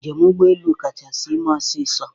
Njem ụgbọ elu kachasị ime ọsịsọ.